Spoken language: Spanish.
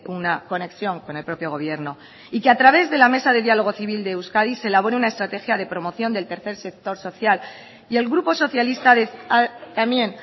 una conexión con el propio gobierno y que a través de la mesa de diálogo civil de euskadi se elabore una estrategia de promoción del tercer sector social y el grupo socialista también